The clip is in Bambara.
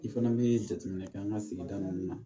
I fana bɛ jateminɛ kɛ an ka sigida nunun na